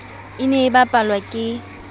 e ne e bapalwa ke